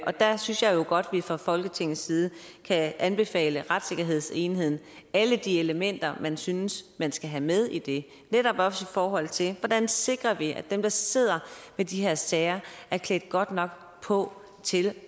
og der synes jeg jo godt vi fra folketingets side kan anbefale retssikkerhedsenheden alle de elementer man synes man skal have med i det netop også i forhold til hvordan vi sikrer at dem der sidder med de her sager er klædt godt nok på til